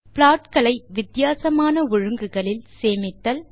plot களை வித்தியாசமான ஒழுங்குகளில் சேமித்தல்